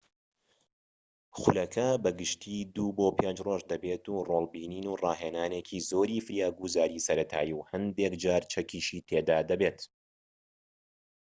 خولەکە بە گشتی ٢-٥ رۆژ دەبێت و ڕۆڵ بینین و ڕاهێنانێکی زۆری فریاگوزاریی سەرەتایی و هەندێكجار چەکیشی تێدا دەبێت